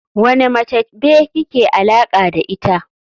Wane mace be kike alaka da ita.